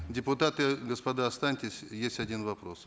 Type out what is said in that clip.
депутаты господа останьтесь есть один вопрос